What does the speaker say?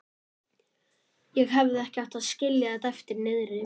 Ég hefði ekki átt að skilja þetta eftir niðri.